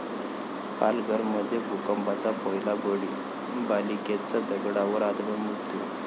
पालघरमध्ये भूकंपाचा पहिला बळी, बालिकेचा दगडावर आदळून मृत्यू